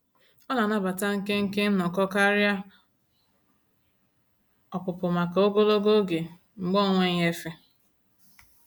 Ọ na-anabata nkenke nnọkọ karịa ọpụpụ maka ogologo oge mgbe ọ n'enweghị efe.